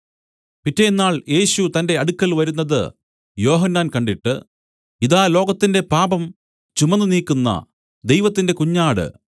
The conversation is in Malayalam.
പിറ്റെന്നാൾ യേശു തന്റെ അടുക്കൽ വരുന്നത് യോഹന്നാൻ കണ്ടിട്ട് ഇതാ ലോകത്തിന്റെ പാപം ചുമന്നു നീക്കുന്ന ദൈവത്തിന്റെ കുഞ്ഞാട്